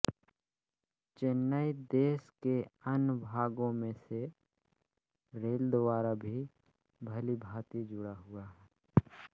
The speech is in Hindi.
चेन्नई देश के अन्य भागों से रेल द्वारा भी भलीभांति जुड़ा हुआ है